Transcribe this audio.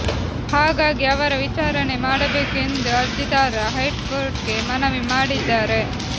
ಹಾಗಾಗಿ ಅವರ ವಿಚಾರಣೆ ಮಾಡಬೇಕು ಎಂದು ಅರ್ಜಿದಾರ ಹೈಕೋರ್ಟ್ಗೆ ಮನವಿ ಮಾಡಿದ್ದಾರೆ